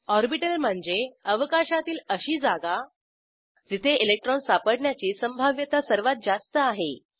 orbital म्हणजे अवकाशातील अशी जागा जिथे इलेक्ट्रॉन सापडण्याची संभाव्यता सर्वात जास्त आहे